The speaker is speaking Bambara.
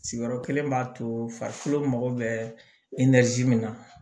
Sigiyɔrɔ kelen b'a to farikolo mago bɛ min na